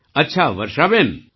અચ્છા વર્ષાબેન